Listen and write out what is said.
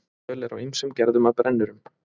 Völ er á ýmsum gerðum af brennurum.